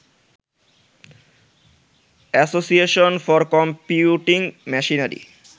association for computing machinery